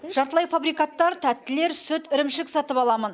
жартылай фабрикаттар тәттілер сүт ірімшік сатып аламын